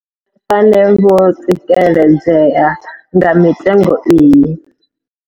Vhane vho tsikeledzea nga mitengo iyi.